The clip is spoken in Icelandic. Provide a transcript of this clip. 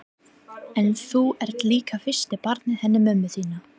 En þú ert líka fyrsta barnið hennar mömmu þinnar.